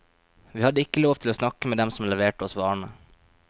Vi hadde ikke lov til å snakke med dem som leverte oss varene.